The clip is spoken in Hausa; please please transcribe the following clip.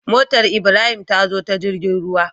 Motar ibrahim tazo ta jirgin ruwa